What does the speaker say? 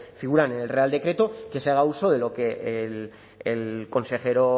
figuran en el real decreto que se haga uso de lo que el consejero